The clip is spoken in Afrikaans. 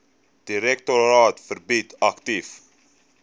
direktoraat verbrei aktief